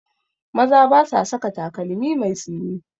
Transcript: Maza ba sa saka takalmi mai tsini